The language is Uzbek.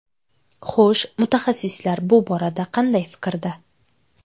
Xo‘sh, mutaxassislar bu borada qanday fikrda?